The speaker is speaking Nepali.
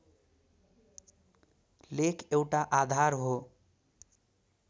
लेख एउटा आधार हो